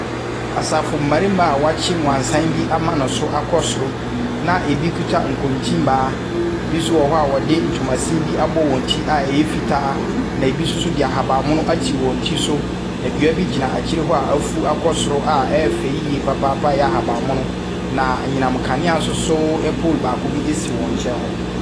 Asafo mmarima a wɔakye wansane bi ama ne so akɔ soro na bi kita nkontin baa, bi nso wɔ hɔ wɔde ntoma sin abɔ wɔn ti a ɛyɛ fitaa, na bi nso de ahabanmono ato wɔn ti so. Na dua bi gyina akyi hɔ a afu akɔ soro a ɛyɛ fɛ yie papaapa a ɛyɛ ahabanmono. Na anyinam nkanea nso pole baako si wɔn nkyɛn hɔ.